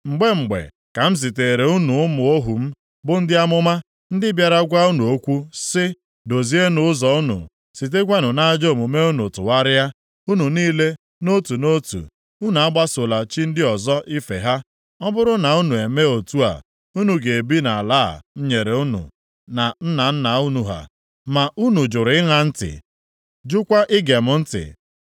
Mgbe mgbe ka m ziteere unu ụmụ ohu m bụ ndị amụma, ndị bịara gwa unu okwu sị, “Dozienụ ụzọ unu, sitekwanụ nʼajọ omume unu tụgharịa. Unu niile nʼotu nʼotu, unu agbasola chi ndị ọzọ ife ha. Ọ bụrụ na unu emee otu a, unu ga-ebi nʼala a m nyere unu na nna nna unu ha.” Ma unu jụrụ ịṅa ntị, jụkwa ige m ntị.